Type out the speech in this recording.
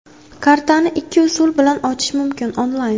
Kartani ikki usul bilan ochish mumkin: Onlayn.